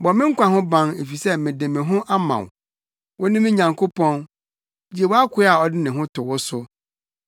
Bɔ me nkwa ho ban, efisɛ mede me ho ama wo. Wo ne me Nyankopɔn, gye wʼakoa a ɔde ne ho to wo so.